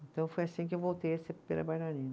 Então foi assim que eu voltei a ser primeira bailarina.